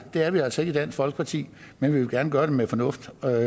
er vi altså ikke i dansk folkeparti men vi vil gerne gøre det med fornuft og